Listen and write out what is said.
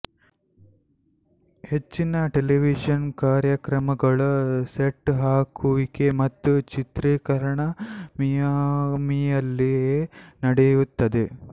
ಹೆಚ್ಚಿನ ಟೆಲಿವಿಶನ್ ಕಾರ್ಯಕ್ರಮಗಳ ಸೆಟ್ ಹಾಕುವಿಕೆ ಮತ್ತು ಚಿತ್ರೀಕರಣ ಮಿಯಾಮಿಯಲ್ಲೇ ನಡೆಯುತ್ತದೆ